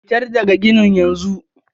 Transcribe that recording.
fitar daga ginin yanzu!